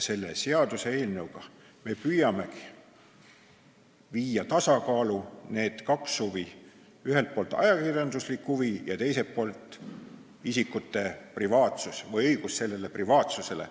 Selle seaduseelnõuga me püüame viia tasakaalu kaks huvi: ühelt poolt ajakirjanduslik huvi ja teiselt poolt isikute õigus privaatsusele.